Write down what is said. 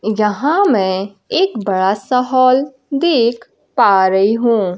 यहां मैं एक बड़ा सा हॉल देख पा रही हूं।